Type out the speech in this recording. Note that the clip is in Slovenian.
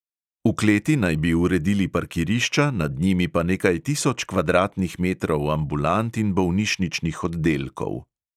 V kleti naj bi uredili parkirišča, nad njimi pa nekaj tisoč kvadratnih metrov ambulant in bolnišničnih oddelkov.